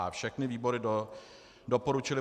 a) všechny výbory doporučily